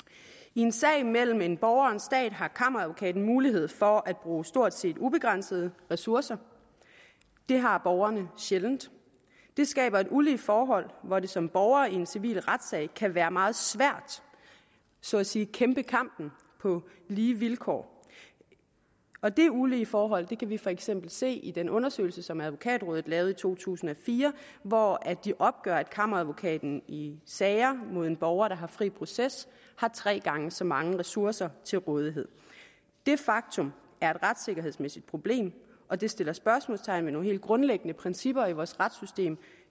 i en sag mellem en borger og en stat har kammeradvokaten mulighed for at bruge stort set ubegrænsede ressourcer det har borgeren sjældent det skaber et ulige forhold hvor det som borger i en civil retssag kan være meget svært så at sige at kæmpe kampen på lige vilkår og det ulige forhold kan vi for eksempel se i den undersøgelse som advokatrådet lavede i to tusind og fire hvor de opgør at kammeradvokaten i sager mod en borger der har fri proces har tre gange så mange ressourcer til rådighed det faktum er et retssikkerhedsmæssigt problem og det sætter spørgsmålstegn ved nogle helt grundlæggende principper i vores retssystem